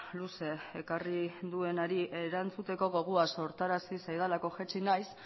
luze ekarri duenari erantzuteko gogoa sortarazi zaidalako jaitsi naiz